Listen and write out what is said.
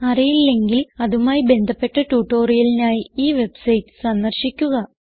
അറിയില്ലെങ്കിൽ അതുമായി ബന്ധപ്പെട്ട ട്യൂട്ടോറിയലിനായി ഈ വെബ്സൈറ്റ് സന്ദർശിക്കുക